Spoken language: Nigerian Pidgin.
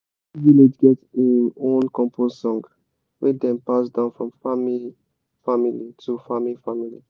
every village get im own compost song wey dem pass down from farming family to farming family.